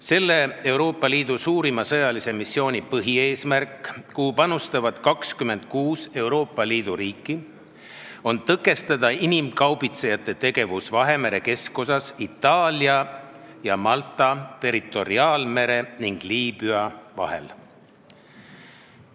Sellesse Euroopa Liidu suurimasse sõjalisse missiooni panustavad 26 Euroopa Liidu riiki ja selle põhieesmärk on tõkestada inimkaubitsejate tegevust Vahemere keskosas Itaalia ja Malta territoriaalmere ning Liibüa vahel.